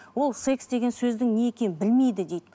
ол секс деген сөздің не екенін білмейді дейді